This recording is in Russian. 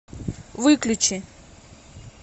выключи